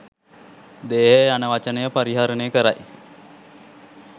දේහය යන වචනය පරිහරණය කරයි